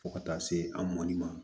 Fo ka taa se a mɔnni ma